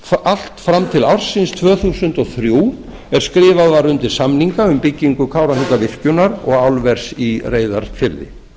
allt fram til ársins tvö þúsund og þrjú er skrifað var undir samninga um byggingu kárahnjúkavirkjunar og álvers í reyðarfirði